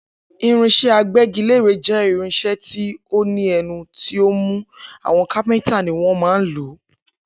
Irinsé agbégilére jé irinsé tí o ní ẹnu tí ọ mú, àwọn kápéntà ni wọn má ń lòó